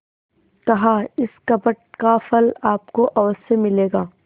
कहाइस कपट का फल आपको अवश्य मिलेगा